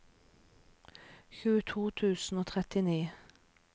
tjueto tusen og trettini